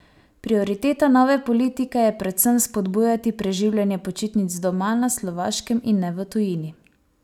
Prioriteta nove politike je predvsem spodbujati preživljanje počitnic doma na Slovaškem in ne v tujini.